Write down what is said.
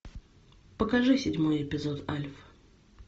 покажи седьмой эпизод альф